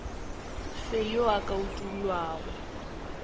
fe yo a ka utollago